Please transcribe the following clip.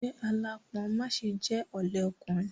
Jẹ́ aláápọn má ṣe jẹ́ ọ̀lẹ ọkùnrin.